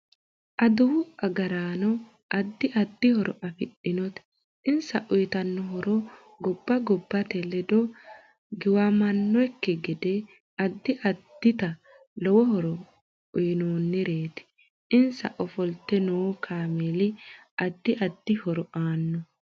Aduwu agaraano addi addi horo afidhinote insa uyiitanno horo gobba gobbat ledo giwanyannokki gede addi addita lowo horo uyiinnoreeti insa ofolte noo kaameeli addi addi horo aanno